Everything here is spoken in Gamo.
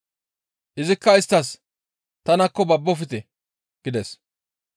Izikka isttas, «Tanakko! Babbofte!» gides.